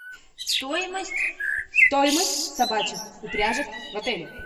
стоимость стоимость собачьих упряжек в отеле